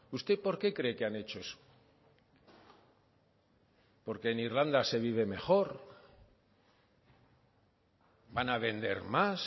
usted por qué cree que han hecho eso por qué en irlanda se vive mejor van a vender más